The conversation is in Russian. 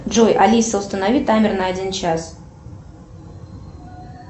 джой алиса установи таймер на один час